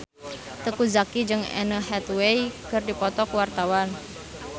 Teuku Zacky jeung Anne Hathaway keur dipoto ku wartawan